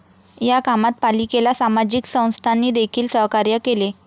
या कामात पालिकेला सामाजिक संस्थांनीदेखील सहकार्य केले.